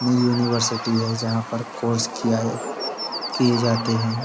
नयी यूनिवर्सिटी है जहाँ पर कोर्स किया किये जाते हैं।